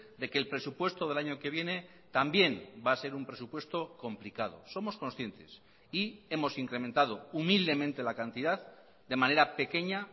de que el presupuesto del año que viene también va a ser un presupuesto complicado somos conscientes y hemos incrementado humildemente la cantidad de manera pequeña